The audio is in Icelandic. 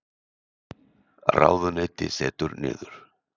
Ráðuneyti setur niður